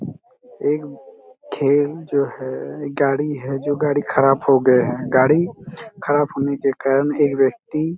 एक जो हैं एक गाडी हैं जो गाडी खराब हो गया हैं गाडी खराब होने के कारण एक व्यक्ति--